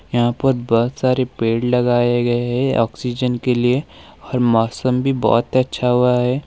यहां पर बहुत सारे पेड़ लगाए गए हैं ऑक्सीजन के लिए और मौसम भी बहुत अच्छा हुआ है।